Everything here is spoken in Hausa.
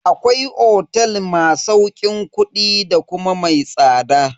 Akwai otel ma sauƙin kudi da kuma mai tsada.